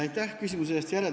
Aitäh küsimuse eest!